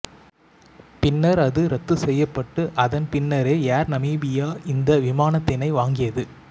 பின்னர் அது இரத்து செய்யப்பட்டு அதன் பின்னரே ஏர் நமிபியா இந்த விமானத்தினை வாங்கியது